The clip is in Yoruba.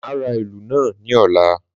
Má ra ìlù náà ní ọ̀la